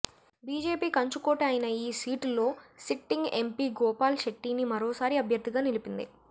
BJP కంచుకోట అయిన ఈ సీటులో సిట్టింగ్ ఎంపీ గోపాల్ శెట్టినీ మరోసారి అభ్యర్థిగా నిలిపింది